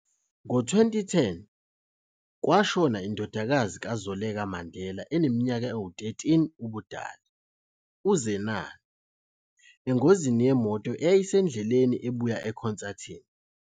Ngo-2010, kwashona indodakazi kaZoleka Mandela eneminyaka engu-13 ubudala, uZenani, engozini yemoto eyayisendleleni ebuya ekhonsathini.